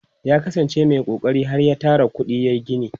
ya kasan ce Mai kokari har ya Tara kuɗi yayi gini